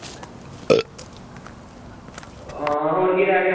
ਆਹ ਹੋਰ ਕੀ ਰਹਿ ਗਿਆ